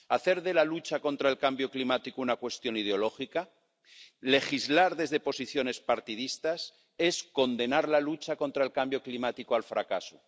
Hacer de la lucha contra el cambio climático una cuestión ideológica, legislar desde posiciones partidistas es condenar la lucha contra el cambio climático al fracaso.